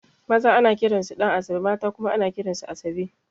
Maza ana kiran su Ɗan'asabe mata kuma ana kiran su Asabe